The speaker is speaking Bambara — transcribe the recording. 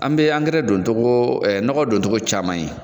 An be angɛrɛ don togo ɛ nɔgɔ don togo caman ye